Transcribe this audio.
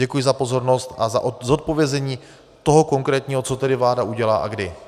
Děkuji za pozornost a za zodpovězení toho konkrétního, co tedy vláda udělá a kdy.